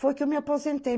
Foi que eu me aposentei.